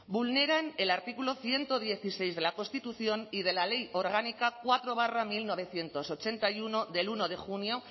vulneran el artículo ciento dieciséis de la constitución y de la ley orgánica cuatro barra mil novecientos ochenta y uno del uno de junio